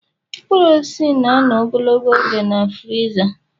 Mkpụrụ osisi na-anọ ogologo oge na friza